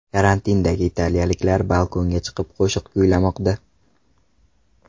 Karantindagi italiyaliklar balkonga chiqib qo‘shiq kuylamoqda .